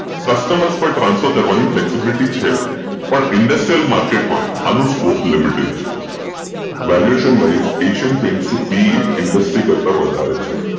customer transfer કરવાની flexibility છે પણ ઇન્ડસ્ટ્રીયલ માર્કેટમાં આનો સ્કોપ લિમિટેડ છે Valuation wise Asian PaintPEindustrial કરતાં વધારે છે